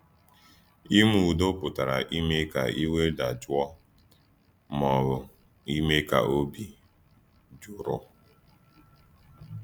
Ímè Ùdò pụtara ímè ka ìwé “dàjùọ̀,” mà ọ́ bụ̀ ímè ka òbì “jùrù.”